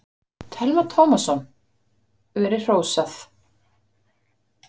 Telma Tómasson: Verið hrósað?